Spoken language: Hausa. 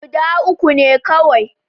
Guda uku ne kawai.